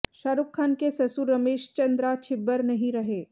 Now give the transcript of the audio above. शाहरुख़ खान के ससुर रमेश चंद्रा छिब्बर नहीं रहे